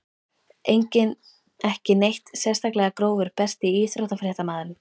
Enginn ekki neitt sérstaklega grófur Besti íþróttafréttamaðurinn?